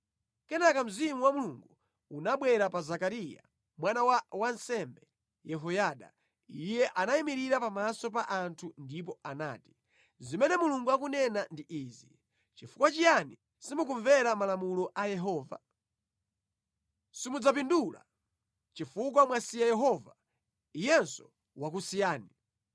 Kenaka Mzimu wa Mulungu unabwera pa Zekariya mwana wa wansembe Yehoyada. Iye anayimirira pamaso pa anthu ndipo anati, “Zimene Mulungu akunena ndi Izi: ‘Chifukwa chiyani simukumvera Malamulo a Yehova? Simudzapindula. Chifukwa mwasiya Yehova, Iyenso wakusiyani.’ ”